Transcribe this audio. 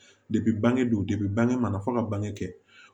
bange bange mana fɔ ka bange kɛ